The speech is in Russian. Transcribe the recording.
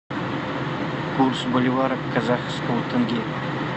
курс боливара к казахскому тенге